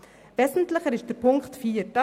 Wesentlicher ist die Ziffer 4.